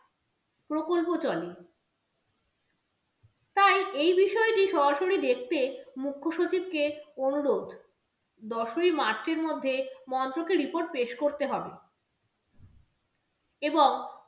প্রকল্প চলে, তাই এই বিষয়টি সরাসরি দেখতে মুখ্যসচিবকে অনুরোধ। দশই march এর মধ্যে মন্ত্রকে report পেশ করতে হবে এবং